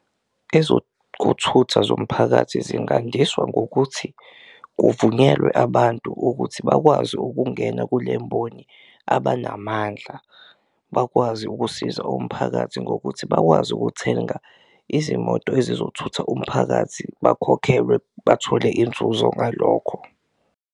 Ezokuthutha zomphakathi zingandiswa ngokuthi kuvunyelwe abantu ukuthi bakwazi ukungena kule mboni, abanamandla bakwazi ukusiza umphakathi ngokuthi bakwazi ukuthenga izimoto ezizothutha umphakathi bakhokhelwe, bathole inzuzo ngalokho.